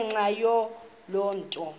ngenxa yaloo nto